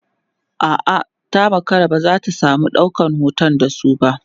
a'a ta makara ba zata samu ɗaukan hoton da su ba